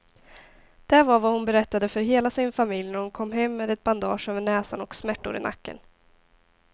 Det var vad hon berättade för hela sin familj när hon kom hem med ett bandage över näsan och smärtor i nacken.